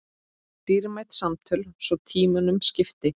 Dýrmæt samtöl svo tímunum skipti.